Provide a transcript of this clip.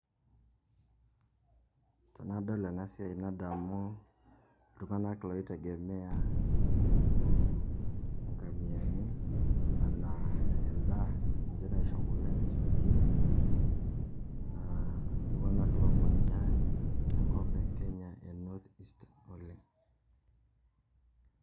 Tenadol enasiai nadamu iltung'anak loitegemea inkamiani, anaa endaa, ninche naisho kulo nisho nkirik, naa iltung'anak lomanya enkop e Kenya e North Eastern oleng'.